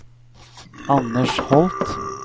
Anders Holth